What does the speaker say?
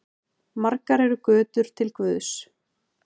Margar eru götur til guðs.